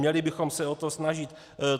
Měli bychom se o to snažit.